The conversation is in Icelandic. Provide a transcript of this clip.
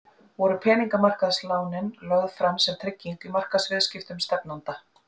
Voru peningamarkaðslánin lögð fram sem trygging í markaðsviðskiptum stefnanda?